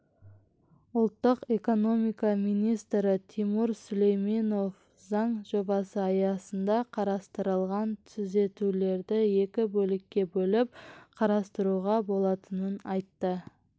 ұлттық экономика министрі тимур сүлейменов заң жобасы аясында қарастырылған түзетулерді екі бөлікке бөліп қарастыруға болатынын айтты